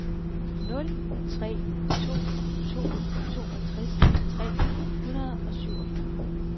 nul tre to to toogtres tre hundrede og syvogfyrre